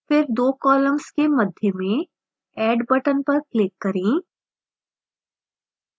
फिर दो columns के मध्य में add button पर click करें